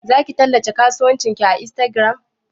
Zaki tallata kasuwancin ki a Instagram?